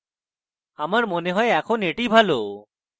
আমার মনে হয় এখন এটি ভালো